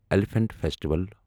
elephant festival